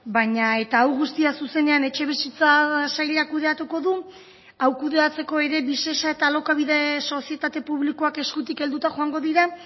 baina eta hau guztia zuzenean etxebizitza sailak kudeatuko du hau kudeatzeko ere visesa eta alokabide sozietate publikoak eskutik helduta joango dira